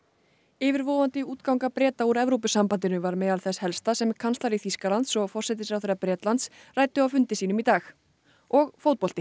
yfirvofandi útganga Breta úr Evrópusambandinu var meðal þess helsta sem kanslari Þýskalands og forsætisráðherra Bretlands ræddu á fundi sínum í dag og fótbolti